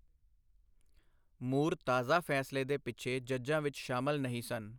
ਮੂਰ ਤਾਜ਼ਾ ਫੈਸਲੇ ਦੇ ਪਿੱਛੇ ਜੱਜਾਂ ਵਿੱਚ ਸ਼ਾਮਲ ਨਹੀਂ ਸਨ।